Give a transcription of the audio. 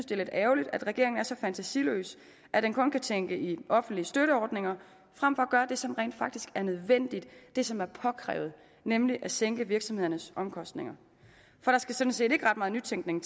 det er lidt ærgerligt at regeringen er så fantasiløs at den kun kan tænke i offentlige støtteordninger frem for at gøre det som rent faktisk er nødvendigt det som er påkrævet nemlig at sænke virksomhedernes omkostninger for der skal sådan set ikke ret meget nytænkning